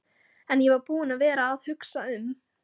En ég var búinn að vera að hugsa um.